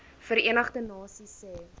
verenigde nasies se